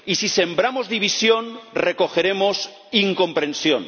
Y si sembramos división, recogeremos incomprensión.